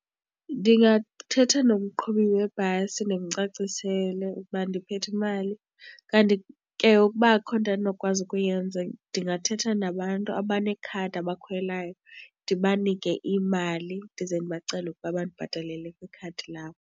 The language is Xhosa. Ndingathetha nomqhubi webhasi ndimcacisele ukuba ndiphethe imali. Kanti ke ukuba akukho nto endinokwazi ukuyenza ndingathetha nabantu abanekhadi abakhwelayo ndibanike imali, ndize ndibacele ukuba bandibhatalele kwikhadi labo.